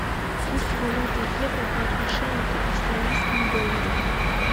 курс валюты евро по отношению к австралийскому доллару